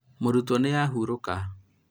mũrutwo nĩ ahurũka